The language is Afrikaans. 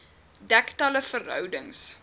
dek talle verhoudings